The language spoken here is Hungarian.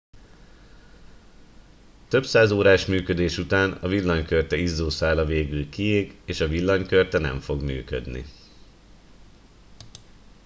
több száz órás működés után a villanykörte izzószála végül kiég és a villanykörte nem fog működni